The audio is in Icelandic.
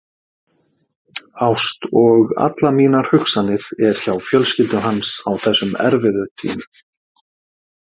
Ást og allar mínar hugsanir er hjá fjölskyldu hans á þessum erfiðu tímum.